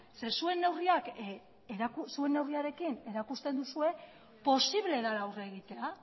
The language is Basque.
zeren eta zuen neurriarekin erakusten duzue posible dela aurre egitea